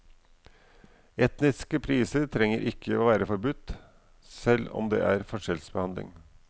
Etniske priser trenger ikke være forbudt, selv om det er forskjellsbehandling.